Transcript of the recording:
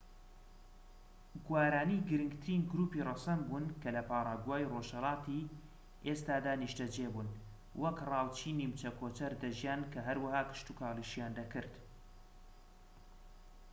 گوارانی گرنگترین گروپی ڕەسەن بوون کە لە پاراگوای ڕۆژهەڵاتی ئێستادا نیشتەجێ بوون وەک ڕاوچی نیمچە کۆچەر دەژیان کە هەروەها کشتوکاڵیشیان دەکرد